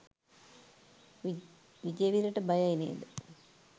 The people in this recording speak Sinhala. විජේවීරට බයයි නේද?